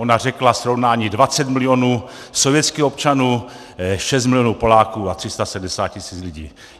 Ona řekla srovnání 20 milionů sovětských občanů, 6 milionů Poláků a 370 tisíc lidí.